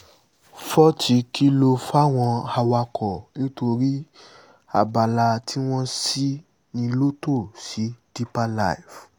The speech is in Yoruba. fots kìlọ̀ fáwọn awakọ̀ nítorí abala tí wọ́n ṣì ní lotto sí deeper life